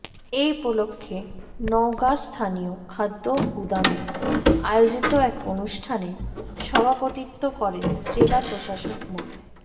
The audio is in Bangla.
এ উপলক্ষে নওগাঁ স্থানীয় খাদ্য গুদামে আয়োজিত এক অনুষ্ঠানে সভাপতিত্ব করেন জেলা প্রশাসক মো